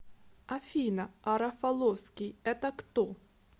афина а рафаловский это кто